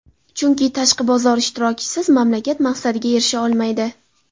Chunki tashqi bozor ishtirokisiz mamlakat maqsadiga erisha olmaydi.